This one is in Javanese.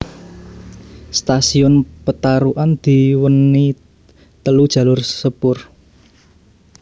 Stasiun Petarukan diweni telu jalur sepur